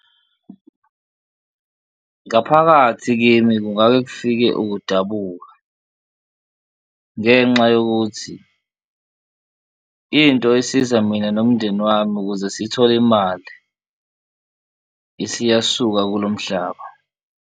Ngaphakathi kimi kungake kufike ukudabuka ngenxa yokuthi into isiza mina nomndeni wami ukuze sithole imali isiyasuka kulo mhlaba.